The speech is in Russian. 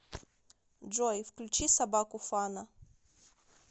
джой включи собаку фана